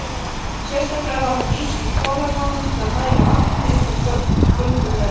Sérstaklega var hún nýtt í kolanámum til að dæla vatni upp úr göngum þeirra.